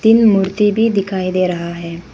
तीन मूर्ति भी दिखाई दे रहा है।